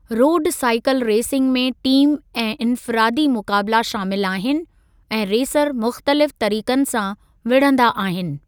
रोडु cycle racing में team ऐं इन्फ़िरादी मुक़ाबिला शामिलु आहिनि ऐं रेसर मुख़्तलिफ़ तरीक़नि सां विड़हंदा आहिनि।